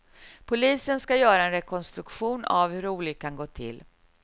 Polisen ska göra en rekonstruktion av hur olyckan gått till.